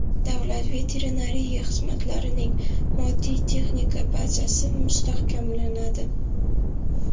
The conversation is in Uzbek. Davlat veterinariya xizmatlarining moddiy-texnika bazasi mustahkamlanadi.